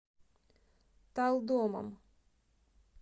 талдомом